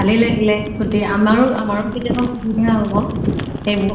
ভালে লাগিলে । আমাৰো আমাৰো কেতিয়া শুবিধা হʼব এইবোৰ